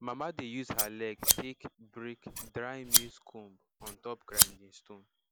mama dey use her leg take break dry maize cob on top grinding stone